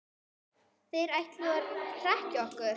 Þeir ætluðu að hrekkja okkur